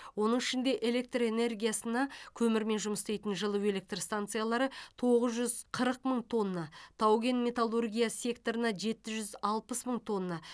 оның ішінде электр энергетикасына көмірмен жұмыс істейтін жылу электр станциялары тоғыз жүз қырық мың тонна тау кен металлургия секторына жеті жүз алпыс мың тонна